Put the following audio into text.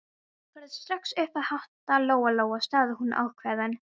Farðu strax upp að hátta, Lóa-Lóa, sagði hún ákveðin.